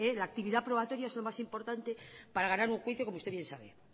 la actividad probatoria es lo más importante para ganar un juicio como usted bien sabe